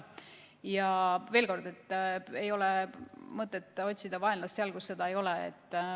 Ja veel kord: ei ole mõtet otsida vaenlast seal, kus seda ei ole.